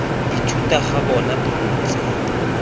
ithuta ga bona bo ntse